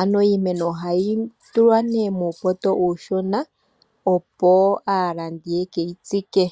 ano iimeno ohayi tulwa muupoto uushona opo aalandi yeke yitsike.